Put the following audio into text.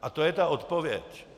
A to je ta odpověď.